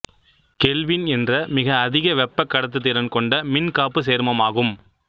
kelvin என்ற மிக அதிக வெப்பக் கடத்துத்திறன் கொண்ட மின் காப்பு சேர்மமாகும்